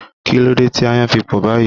Kí ló dé tí ayan fi pò báyìí?